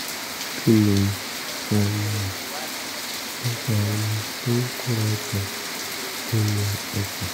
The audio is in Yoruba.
kí ló um ń fa omi tó ń kóra jọ nínú ẹsẹ̀?